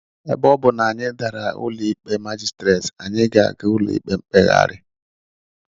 Ebe ọ bụ na anyị dàrà n'ụlọikpe magistrate, anyị ga-aga ụlọikpe mkpegharị.